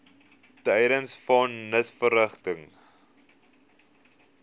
tydens von nisverrigtinge